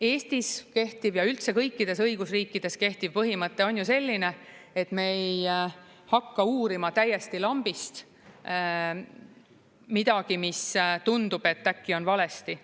Eestis kehtiv ja üldse kõikides õigusriikides kehtiv põhimõte on ju selline, et me ei hakka uurima täiesti lambist midagi, mis tundub, et äkki on valesti.